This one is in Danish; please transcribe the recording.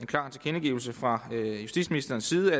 klar tilkendegivelse fra justitsministerens side